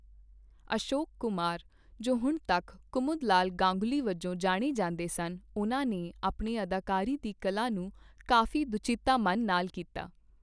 ਅਸ਼ੋਕ ਕੁਮਾਰ, ਜੋ ਹੁਣ ਤੱਕ ਕੁਮੁਦਲਾਲ ਗਾਂਗੁਲੀ ਵਜੋਂ ਜਾਣੇ ਜਾਂਦੇ ਸਨ, ਉਹਨਾਂ ਨੇ ਆਪਣੇ ਅਦਾਕਾਰੀ ਦੀ ਕਲਾ ਨੂੰ ਕਾਫ਼ੀ ਦੁਚਿੱਤਾ ਮੰਨ ਨਾਲ ਤਾਰੇ ਕੀਤਾ।